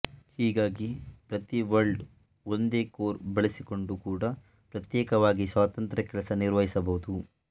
ಹೀಗಾಗಿ ಪ್ರತಿ ವರ್ಲ್ಡ್ ಒಂದೇ ಕೋರ್ ಬಳಸಿಕೊಂಡೂ ಕೂಡ ಪ್ರತ್ಯೇಕವಾಗಿ ಸ್ವತಂತ್ರ ಕೆಲಸ ನಿರ್ವಹಿಸಬಹುದು